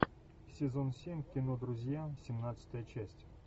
сезон семь кино друзья семнадцатая часть